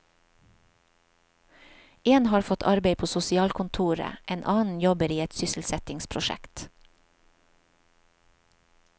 En har fått arbeid på sosialkontoret, en annen jobber i et sysselsettingsprosjekt.